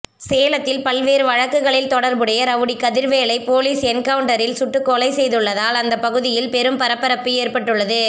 சேலத்தில் பல்வேறு வழக்குகளில் தொடர்புடைய ரவுடி கதிர்வேலை போலீஸ் என்கவுண்டரில் சுட்டுக்கொலை செய்துள்ளதால் அந்த பகுதியில் பெரும் பரபரப்பு ஏற்பட்டுள்ளது